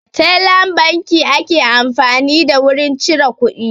Tellan banki ake amfani da wurin cire kuɗi